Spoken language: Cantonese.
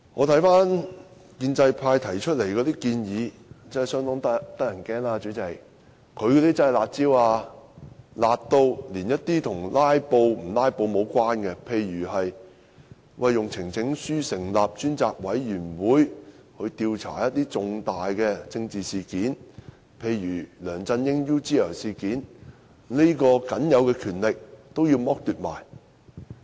代理主席，建制派提出的建議真是相當令人害怕，真的是"辣招"，"辣"到連一些與"拉布"無關，例如以提交呈請書的方式，成立專責委員會調查一些重大政治事件，例如梁振英 "UGL 事件"，這項僅有的權力也要剝奪。